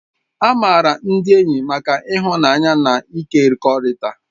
A maara ndị enyi maka ịhụnanya na ịkekọrịta